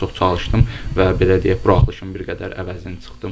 Daha çox çalışdım və belə deyək, buraxılışın bir qədər əvəzini çıxdım.